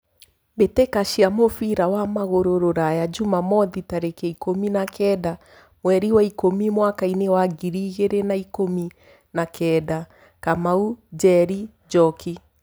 Mbĩtĩka cia mũbira wa magũrũ Ruraya Jumamwothi tarĩki ikũmi makenda mweri wa ikũmi mwakainĩ wa ngiri igĩrĩ na ikũmi na kenda Kamau, Njeri, Njoki.